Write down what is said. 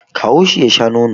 Kawo shi ya sha nono